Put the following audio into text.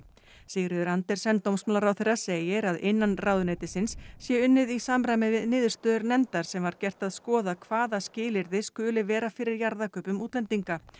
Sigríður Andersen dómsmálaráðherra segir að innan ráðuneytisins sé unnið í samræmi við niðurstöður nefndar sem gert var að skoða hvaða skilyrði skuli vera fyrir jarðakaupum útlendinga